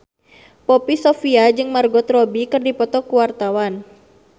Poppy Sovia jeung Margot Robbie keur dipoto ku wartawan